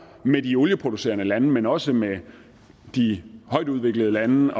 med de olieproducerende lande men også med de højtudviklede lande